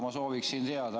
Ma sooviksin teada.